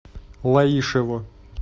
лаишево